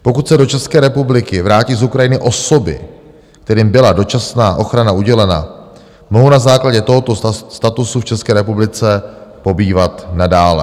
Pokud se do České republiky vrátí z Ukrajiny osoby, kterým byla dočasná ochrana udělena, mohou na základě tohoto statusu v České republice pobývat nadále.